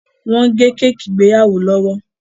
wón gé Kéèkì ìgbéyàwó lówó!